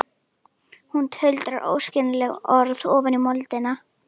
Hún tuldrar óskiljanleg orð ofan í moldina.